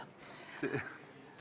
On ikka õigus.